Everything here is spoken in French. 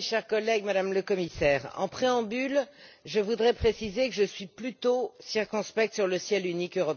chers collègues, Madame le Commissaire, en préambule, je voudrais préciser que je suis plutôt circonspecte sur le ciel unique européen.